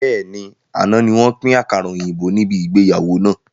Bẹ́ẹ̀ni, àná ni wọn pin àkàrà òyìnbó níbi ìgbéyàwó náà.